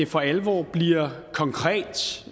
for alvor bliver konkret